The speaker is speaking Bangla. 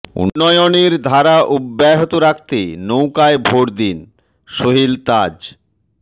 উন্নয়নের ধারা অব্যাহত রাখতে নৌকায় ভোট দিন সোহেল তাজ